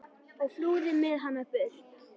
og flúði með hana burt.